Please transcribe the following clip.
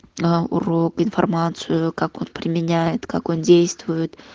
аа урок информацию как он применяет как он действует